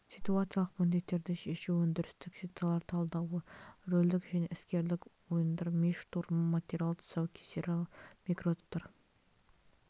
ситуациялық міндеттерді шешу өндірістік ситуациялар талдауы рөлдік және іскерлік ойындар ми штурмы материал тұсаукесері микротоптар